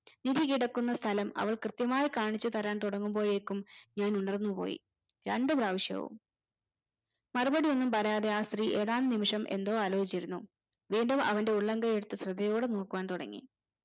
നിധി കിടക്കുന്ന സ്ഥലം അവൾ കൃത്യമായി കാണിച്ചു തരാൻ തുടങ്ങുമ്പോഴേക്കും ഞാൻ ഉണർന്നു പോയി രണ്ടു പ്രവിശ്യവും മറുപടിയൊന്നും പറയാതെ ആ സ്ത്രീ ഏതാനും നിമിഷം എന്തോ ആലോചിച്ചിരുന്നു വീണ്ടും അവന്റെ ഉള്ളം കൈ എടുത്ത് ശ്രദ്ധയോടെ നോക്കുവാൻ തുടങ്ങി